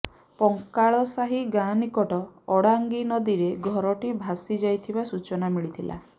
ପଙ୍କାଳସାହୀ ଗାଁ ନିକଟ ଅଡାଙ୍ଗି ନଦୀରେ ଘରଟି ଭସିଯାଇଥିବା ସୂଚନା ମିଳିଥିଲା